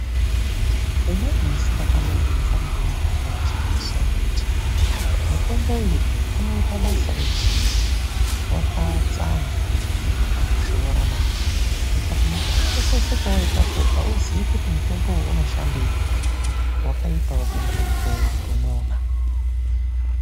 Umweni musi ndakambobvunza murumbwana wachena musoro kuti mutombo uyu unoita basa rechii, wakatsamwa ndakamushora naa! ndikati nekukura kwese kwawaita uku hauzii kuti mutombo uyu unoshandei. Wakaitawo bungumu pee murume uyu naa.